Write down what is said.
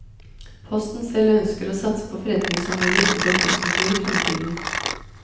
Posten selv ønsker å satse på forretningsområder utenfor postkontoret i fremtiden.